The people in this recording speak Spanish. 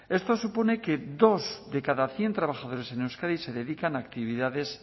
esto supone que dos de cada cien trabajadores en euskadi se dedican a actividades